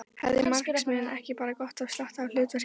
Hefði marxisminn ekki bara gott af slatta af hlutgervingu.